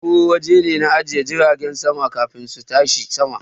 Afaron waje ne na ajiye jiragen sama kafin su tashi sama